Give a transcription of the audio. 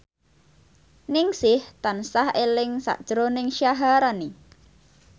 Ningsih tansah eling sakjroning Syaharani